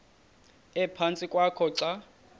ephantsi kwakho xa